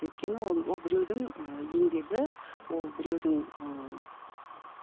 өйткені он ол біреудің ы еңбегі ол біреудің ыыы